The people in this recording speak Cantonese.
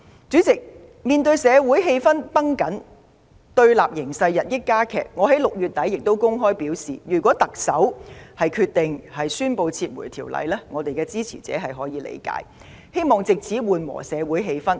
主席，面對社會氣氛繃緊，對立形勢日益加劇，我在6月底公開表示，如果特首決定宣布撤回《條例草案》，我們的支持者會理解，並希望此舉能緩和社會氣氛。